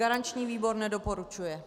Garanční výboru nedoporučuje.